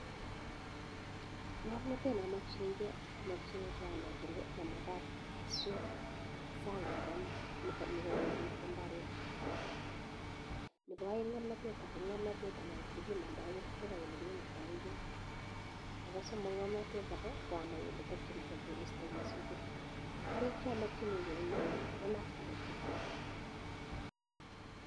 Ngamnatet nee amakchinii kee amakichinii anaii kole mamakat asut saang oleite imbaret nepo aeng ko ngamnatet akee ko ngamnatet anaii apiman kerchek ak olekipimandaii peek nepo somo ko ngamnatet akee koo anaii ole takchin kee korista kesute karik cha makchinii kee eng yuu koo knapsakit kityok